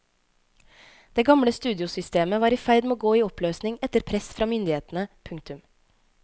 Det gamle studiosystemet var i ferd med å gå i oppløsning etter press fra myndighetene. punktum